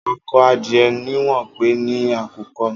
Ákọ̀ adiẹ niwọn pé ni àkúkọ̀